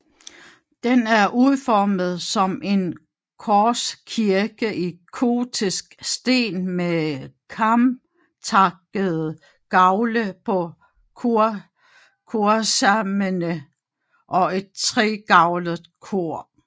Den er udformet som en korskirke i gotisk stil med kamtakkede gavle på korsarmene og et tregavlet kor